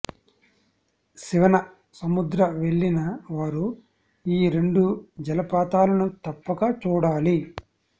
శివన సముద్ర వెళ్ళిన వారు ఈ రెండు జలపాతాలను తప్పక చూడాలి